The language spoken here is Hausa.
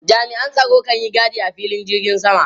Jami'an tsaro kan yi gadi a filin jirgin sama.